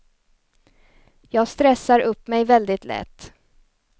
Jag stressar upp mig väldigt lätt.